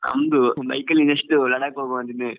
ನಂದು bike ಅಲ್ಲಿ next Ladakh ಹೋಗ್ವ ಅಂತ ಇದ್ದೇನೆ.